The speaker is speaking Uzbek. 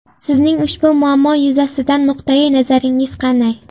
Sizning ushbu muammo yuzasidan nuqtai nazaringiz qanday?